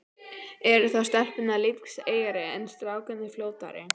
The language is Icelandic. Eru þá stelpurnar lífseigari, en strákarnir fljótari?